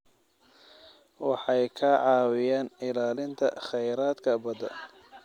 Waxay ka caawiyaan ilaalinta kheyraadka badda.